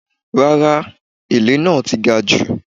Rárá, èlé náà ti gajù.